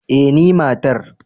eh ni matar